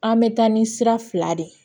An bɛ taa ni sira fila de ye